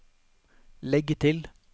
legg til